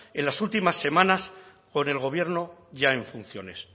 en las últimas semanas por el gobierno ya en funciones